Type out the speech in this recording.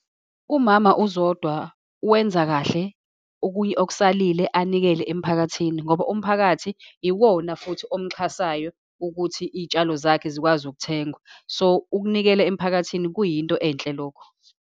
UMama uZodwa wenza kahle, okuyi okusalile anikele emphakathini, ngoba umphakathi iwona futhi omxhasayo ukuthi iy'itshalo zakhe zikwazi ukuthengwa. So, ukunikela emphakathini kuyinto enhle lokho.